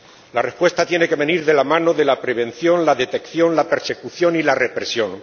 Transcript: La respuesta tiene que venir de la mano de la prevención, la detección, la persecución y la represión.